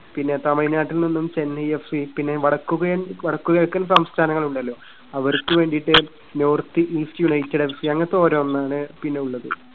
പിന്നെ തമിഴ്‌നാട്ടിൽനിന്നും Chennai F C. പിന്നെ വടക്കുകിഴൻ വടക്കുകിഴക്കൻ സംസ്ഥാനങ്ങൾ ഉണ്ടല്ലോ. അവർക്ക് വേണ്ടിട്ട് North East United F C അങ്ങനത്തെ ഓരോന്നാണ് പിന്നെയുള്ളത്.